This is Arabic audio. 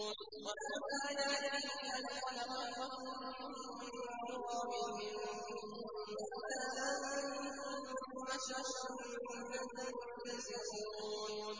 وَمِنْ آيَاتِهِ أَنْ خَلَقَكُم مِّن تُرَابٍ ثُمَّ إِذَا أَنتُم بَشَرٌ تَنتَشِرُونَ